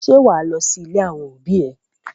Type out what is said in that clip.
Ṣé wà á lọ sí ilé àwọn òbí ẹ?